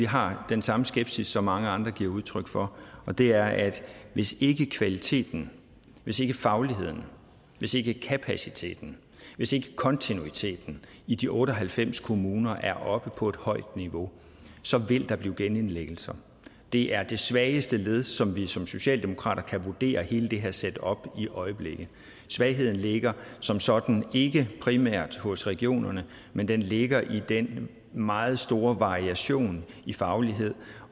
har den samme skepsis som mange andre giver udtryk for og det er at hvis ikke kvaliteten hvis ikke fagligheden hvis ikke kapaciteten hvis ikke kontinuiteten i de otte og halvfems kommuner er oppe på et højt niveau så vil der blive genindlæggelser det er det svageste led som vi som socialdemokrater kan vurdere i hele det her setup i øjeblikket svagheden ligger som sådan ikke primært hos regionerne men den ligger i den meget store variation i faglighed